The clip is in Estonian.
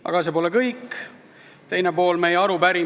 Aga see pole kõik, arupärimisel on ka teine pool.